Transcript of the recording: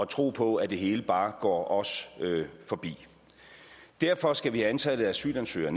tro på at det hele bare går os forbi derfor skal vi have antallet af asylansøgere